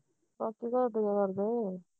ਮਾਸੀ ਘਰ ਕਿਵੇਂ ਕਰਦੇ